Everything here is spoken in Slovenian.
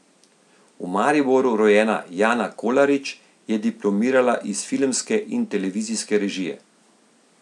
V Mariboru rojena Jana Kolarič je diplomirala iz filmske in televizijske režije.